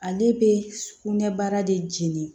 Ale bɛ sukunɛ baara de jɛni